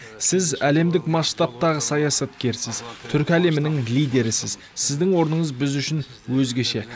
сіз әлемдік масштабтағы саясаткерсіз түркі әлемінің лидерісіз сіздің орныңыз біз үшін өзгеше